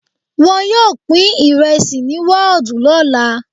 Wọn yóò pín ìrẹsì ní wọ́ọ̀dù lọ́la.